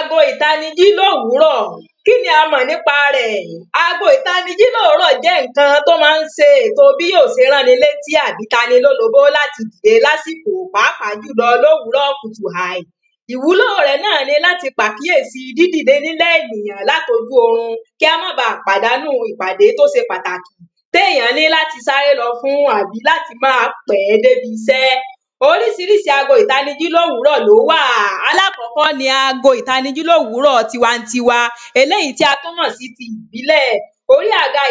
ago ìtanijí lòwúrọ̀ kíní a mọ̀ nípa rẹ̀ ago ìtanijí lòwúrọ̀ jẹ́ ǹkan tó máá ń se ètò bí yò se rán ni létí àbí tani lólobó láti pèé lásìkò pàápàá jùlọ lòwúrọ̀ kùtù hàí ìwúlò rẹ̀ náà ni láti pàkíyèsi dídìlẹ nílẹ̀ ènìyàn látojú orun kí á má ba pàdánù ìpàdé tó ṣe pàtàkì tí èyàn ní láti sáré lọ fún àbí làti màá pẹ̀ẹ́ dé bisẹ́ orisirísi ago ìtanijí lòwúrọ̀ lówà alákọ̀kọ́ọ́ ni ago ìtanijí lòwúrọ̀ tiwantiwa eléyìí tí a tún mọ̀ sí ti ìbílẹ̀ orí àga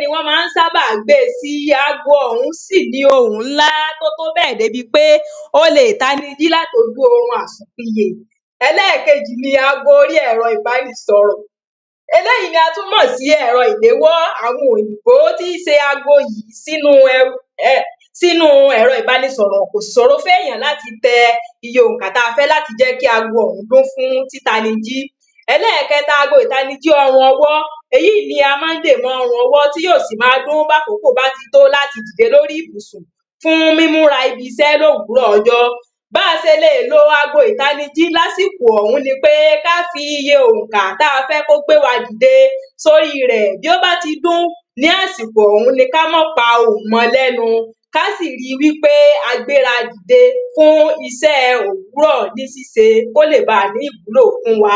ni wón má ń sábà ń gbe sí ago ọ̀hún sí nìí ohùn nlá tótóbẹ̀ dé bi pé o lè tani jí látojú orun àsùnpiyè ẹlẹ́kejì ni ago orí ẹ̀rọ ìbánisọ̀rọ̀ eléyìí ni a tún mọ̀ sí ẹ̀rọ ìléwọ́ àwọn òyìbó tí se ago yìí sínu sínu ẹ̀rọ ìbánisọ̀rọ̀ kò sì sòro fún èyàn láti tẹ iye òǹkà tí a fẹ́ kí ago ọ̀hún dún fún títanijí ẹlẹ́kẹ̀ẹta ago ìtanijí ọrùn ọwọ́ èyíì ni a má ń dè mọ́ ọrùn ọwọ́ tí yò sì ma dún bí àkókò báti tó láti dìde lórí ìbùnsùn fún mímúra ibisẹ́ lòwúrọ̀ ọjọ́ bá se le lo ago ìtanijí lásìkò ọ̀hún ni pé ká fi iye òǹkà tí a fẹ́ kó gbé wa dìde sórí rẹ̀ bí ó bá ti dún ní àsìkò ọ̀hún ni kí a mọ́ pa ohùn mọ lẹ́nu ká sì ri wípé a gbéra dìde fún isẹ́ òwúrọ̀ ní síse kó lè bà à ní ìwúlò fún wa